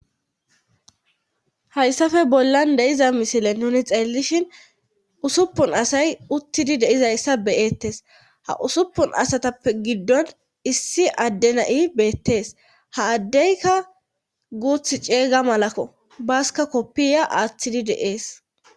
Hayssafe bollan deiza misile nuni xeellishin usuppun asay uttidi deizayssa beyeettes ha usuppun asatappe giddon issi addenai beettees ha addeyka guuth ceeyga malakko basika koppiya aaththidi de7ees.